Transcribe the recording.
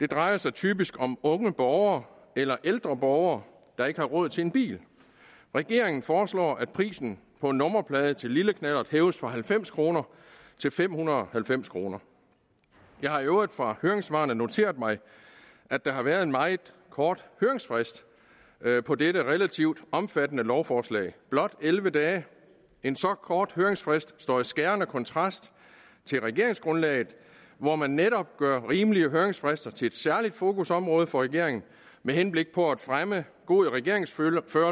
det drejer sig typisk om unge borgere eller ældre borgere der ikke har råd til en bil regeringen foreslår at prisen på en nummerplade til en lille knallert hæves fra halvfems kroner til fem hundrede og halvfems kroner jeg har i øvrigt fra høringssvarene noteret mig at der har været en meget kort høringsfrist på dette relativt omfattende lovforslag blot elleve dage en så kort høringsfrist står i skærende kontrast til regeringsgrundlaget hvor man netop gør rimelige høringsfrister til et særligt fokusområde for regeringen med henblik på at fremme god regeringsførelse